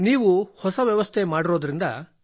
ನೀವು ವ್ಯವಸ್ಥೆ ಮಾಡಿರುವುದರಿಂದ